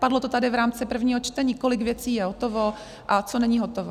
Padlo to tady v rámci prvního čtení, kolik věcí je hotovo a co není hotovo.